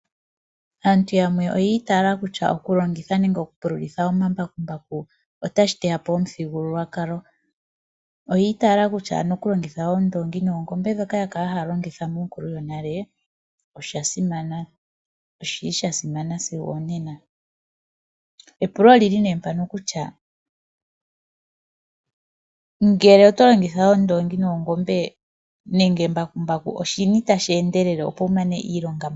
Aantu yamwe oyi itaala kutya okulongitha nenge okupululitha omambakumbaku otashi teya po omuthigululwakalo. Oyi itaala kutya okulongitha oongombe nenge oondoongi ndhoka ya kala haya longitha monkulu yonale osha simana sigo onena. Epulo oli li nduno mpaka kutya, ngele otwa longitha oondoongi noongombe nenge embakumbaku oshini tashi endelele, opo wu mane iilonga mbala?